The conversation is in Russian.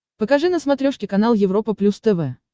покажи на смотрешке канал европа плюс тв